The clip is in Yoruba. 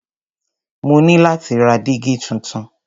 Mo ní láti ra dígí tuntun.